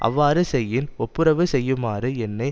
அவ்வாறு செய்யின் ஒப்புரவு செய்யுமாறு என்னை